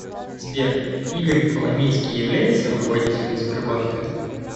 сбер игорь коломейский является руководителем сбербанка